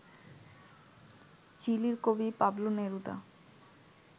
চিলির কবি Pablo Neruda